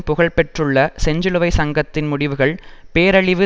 புகழ்பெற்றுள்ள செஞ்சிலுவை சங்கத்தின் முடிவுகள் பேரழிவு